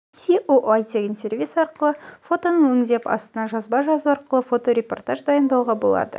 аое тегін сервисі арқылы фотоны өңдеп астына жазба жазу арқылы фоторепортаж дайындауға болады